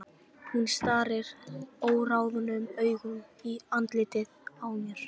Hún starir óráðnum augum í andlitið á mér.